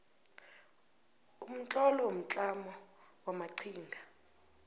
umtlolo womtlamo wamaqhinga